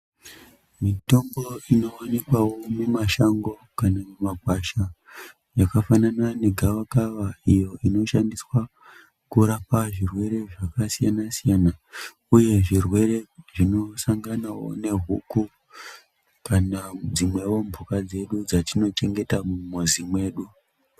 Mitombo inowanikwawo mumashango kana mumagwasha yakafanana negavakava iyo inoshandiswa kurapa zvirwere zvakasiyana siyana uye zvirwere zvinosangana nehuku kana dzimwewo mhuka dzedu dzatino chengeta mumizi mwedu.